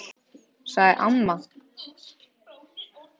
sagði amma.